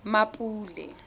mmapule